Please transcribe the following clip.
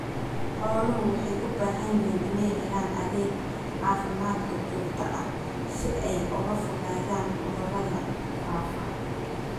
Xooluhu waxay u baahan yihiin inay helaan adeeg caafimaad oo joogto ah si ay uga fogaadaan cudurrada faafa.